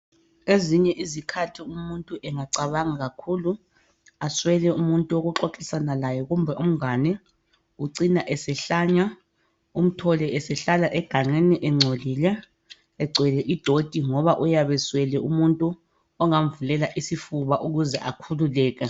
Ezinye izikhathi umuntu engacabanga kakhulu aswele umuntu wokuxoxisana laye kumbe umngane, ucina esehlanya umthole esehlala egangeni ecina engcolile egcwele idoti ngoba uyabe eswele umuntu ongamvulela isifuba ukuze akhululeke.